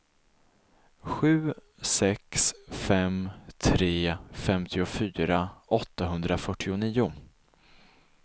sju sex fem tre femtiofyra åttahundrafyrtionio